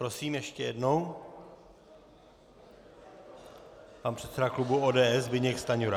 Prosím ještě jednou pan předseda klubu ODS Zbyněk Stanjura.